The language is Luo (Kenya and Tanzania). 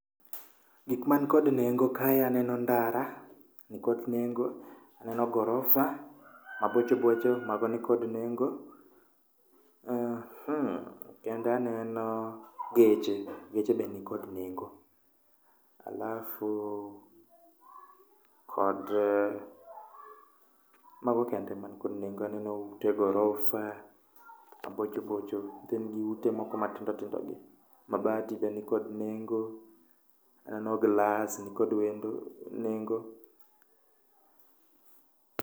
Gik man kod nengo kae aneno ndara, nikod nengo, aneno gorofa mabocho bocho mago nikod nengo, eh kendo aneno geche, geche be nikod nengo. alafu kod Mago kende ema nikod nengo, aneno ute gorofa mabocho bocho, then gi ute moko matindo tindo gi. Mabati be nikod nengo, aneno glas nikod nengo nikod nengo.